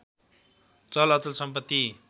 चल अचल सम्पति